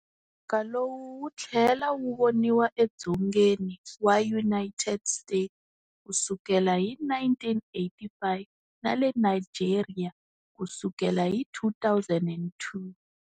Muxaka lowu wutlhele wu voniwa edzongeni wa United States kusukela hi 1985, nale Nigeria kusukela hi 2002.